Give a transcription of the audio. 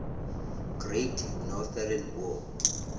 great northern war